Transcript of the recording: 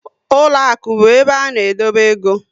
Ụlọakụ bụ ebe a na edobe égo